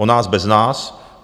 O nás bez nás.